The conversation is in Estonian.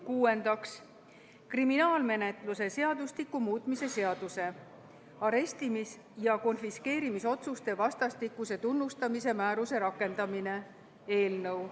Kuuendaks, kriminaalmenetluse seadustiku muutmise seaduse eelnõu.